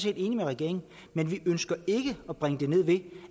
enige med regeringen men vi ønsker ikke at bringe det ned ved